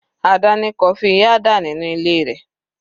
Ada ní coffee Nyada nínú ilé rẹ̀.